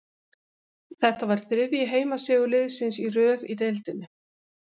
Þetta var þriðji heimasigur liðsins í röð í deildinni.